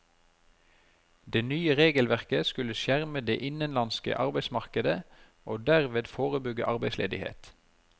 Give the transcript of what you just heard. Det nye regelverket skulle skjerme det innenlandske arbeidsmarkedet og derved forebygge arbeidsledighet.